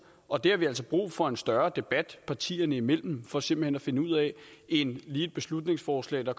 og det har vi altså brug for en større debat partierne imellem for simpelt hen at finde ud af end lige det beslutningsforslag der